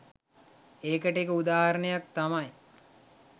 ඒකට එක උදාහරණයක් තමයි